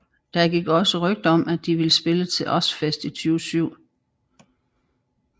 Der gik også rygter om at de ville spille til Ozzfest i 2007